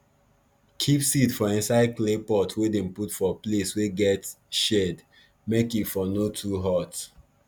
keep seed for inside clay pot wey dem put for place wey get shade make e for no too hot